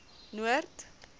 noord